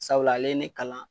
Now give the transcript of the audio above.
Sabula ale ye ne kalan